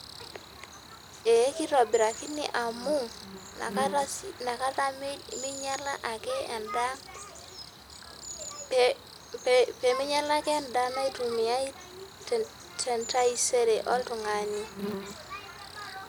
Ee kitobirakini amu nakata minyala ake endaa ,peminyala ake endaa naitumiai tentaisere oltungani.